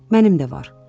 Mənim də var.